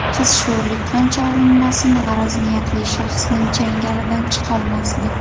Qiz sho‘rlik qancha urinmasin g‘araz niyatli shaxsning changalidan chiqolmasdi.